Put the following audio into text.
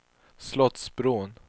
Slottsbron